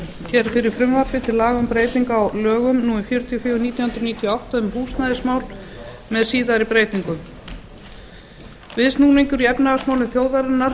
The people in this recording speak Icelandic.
hér fyrir frumvarpi til laga um breytingu á lögum númer fjörutíu og fjögur nítján hundruð níutíu og átta um húsnæðismál með síðari breytingum viðsnúningur í efnahagsmálum þjóðarinnar